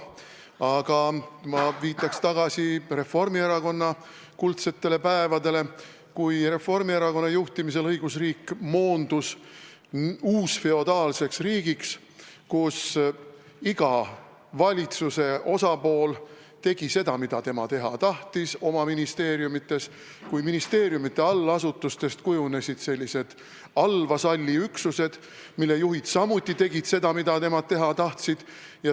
Aga ma viitan Reformierakonna kuldsetele päevadele, kui Reformierakonna juhtimisel moondus õigusriik uusfeodaalseks riigiks, kus iga valitsuse osapool oma ministeeriumis tegi seda, mida tema teha tahtis, kui ministeeriumide allasutustest kujunesid allvasalliüksused, mille juhid tegid samuti seda, mida nad teha tahtsid.